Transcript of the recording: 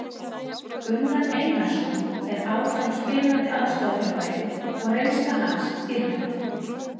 Gunnar Einarsson er áfram spilandi aðstoðarþjálfari og reynsla hans dýrmæt.